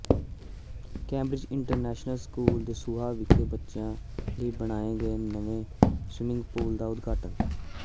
Cambridge international school Dasuya ਵਿਖੇ ਬੱਚਿਆਂ ਲਈ ਬਣਾਏ ਗਏ ਨਵੇਂ ਸਵਿਮਿੰਗ ਪੂਲ ਦਾ ਉਦਘਾਟਨ